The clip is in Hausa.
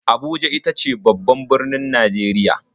Abuja ita ce babban birnin Najeriya.